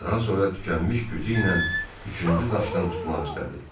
Daha sonra tükənmiş gücü ilə üçüncü daşdan tutmaq istədi.